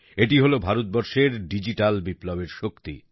এটি হলো ভারতবর্ষের ডিজিটাল বিপ্লবের শক্তি